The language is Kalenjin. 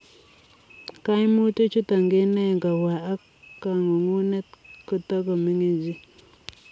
Kaimutich chutok kenae ngopwa ak kangungunet kotakomining chii